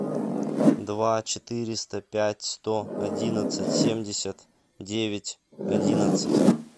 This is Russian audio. два четыреста пять сто одиннадцать семьдесят девять одиннадцать